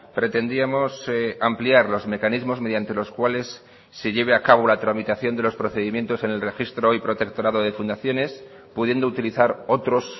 pretendíamos ampliar los mecanismos mediante los cuales se lleve a cabo la tramitación de los procedimientos en el registro hoy protectorado de fundaciones pudiendo utilizar otros